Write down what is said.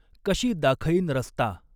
कशी दाखईन रस्ता